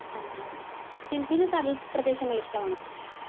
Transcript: സിമിക്ക് കടൽ പ്രദേശങ്ങൾ ഇഷ്ടമാണോ